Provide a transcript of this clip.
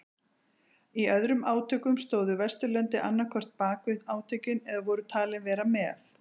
Í öðrum átökum stóðu Vesturlöndin annað hvort bakvið átökin eða voru talin vera það.